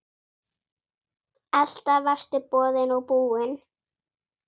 Alltaf varstu boðinn og búinn.